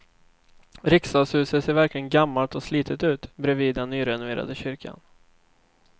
Riksdagshuset ser verkligen gammalt och slitet ut bredvid den nyrenoverade kyrkan.